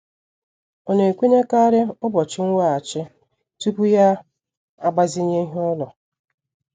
Ọ na-ekwenyekarị ụbọchị nweghachi tupu ya agbazinye ihe ụlọ.